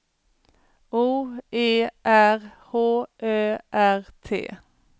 O E R H Ö R T